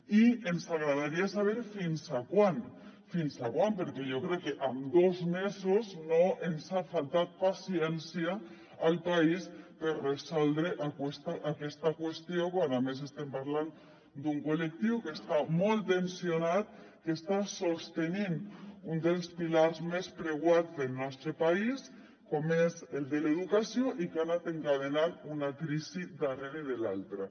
i ens agradaria saber fins quan fins quan perquè jo crec que en dos mesos no ens ha faltat paciència al país per resoldre aquesta qüestió quan a més estem parlant d’un col·lectiu que està molt tensionat que està sostenint un dels pilars més preuats del nostre país com és el de l’educació i que ha anat encadenant una crisi darrere l’altra